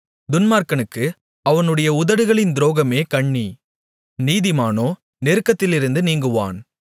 துன்மார்க்கனுக்கு அவனுடைய உதடுகளின் துரோகமே கண்ணி நீதிமானோ நெருக்கத்திலிருந்து நீங்குவான்